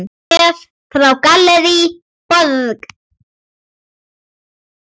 Bréf frá Gallerí Borg.